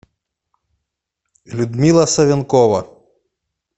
людмила савенкова